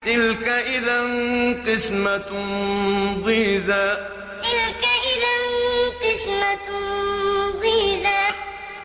تِلْكَ إِذًا قِسْمَةٌ ضِيزَىٰ تِلْكَ إِذًا قِسْمَةٌ ضِيزَىٰ